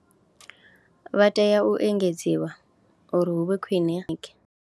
Vha tea u engedziwa uri hu vhe khwine.